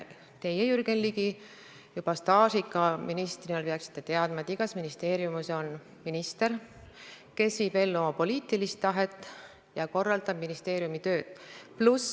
Teie, Jürgen Ligi, juba staažika ministrina peaksite teadma, et igas ministeeriumis on minister, kes viib ellu oma poliitilist tahet ja korraldab ministeeriumi tööd.